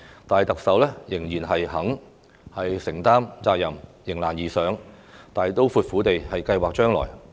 但是，特首仍然肯承擔責任、迎難而上，大刀闊斧地計劃將來。